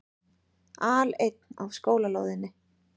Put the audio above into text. Aleinn á skólalóðinni.